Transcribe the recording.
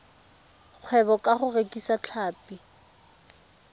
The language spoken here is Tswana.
kgwebo ka go rekisa tlhapi